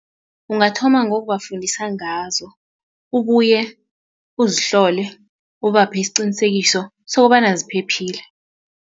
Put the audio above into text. Ungathoma ngokubafundisa ngazo ubuye uzihlole ubaphe isiqinisekiso sokobana ziphephile.